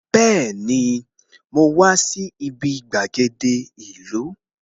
Bẹẹni, mo wá sí ibi gbàgede ìlú